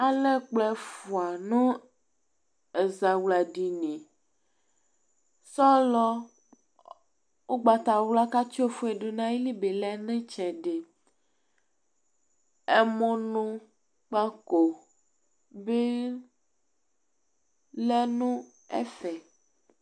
Alɛ ɛkplɔ ɛfua nu ɛzawladini sɔlɔ ugbatawla ku atsi ofue du nu ayili ni lɛ nu itsɛdi ɛmulukpako bi lɛ nu ɛfɛ